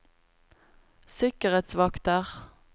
sikkerhetsvakter